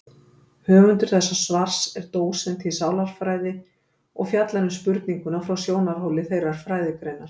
Höfundur þessa svars er dósent í sálarfræði og fjallar um spurninguna frá sjónarhóli þeirrar fræðigreinar.